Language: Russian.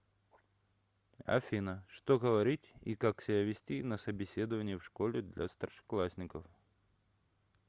афина что говорить и как себя вести на собеседовании в школе для старшеклассников